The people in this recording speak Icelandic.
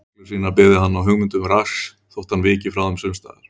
Reglur sínar byggði hann á hugmyndum Rasks þótt hann viki frá þeim sums staðar.